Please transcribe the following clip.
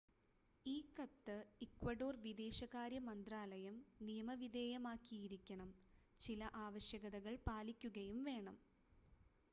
ഈ കത്ത് ഇക്വഡോർ വിദേശകാര്യ മന്ത്രാലയം നിയമവിധേയമാക്കിയിരിക്കണം ചില ആവശ്യകതകൾ പാലിക്കുകയും വേണം